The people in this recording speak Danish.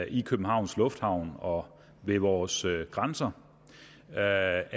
i københavns lufthavn og ved vores grænser er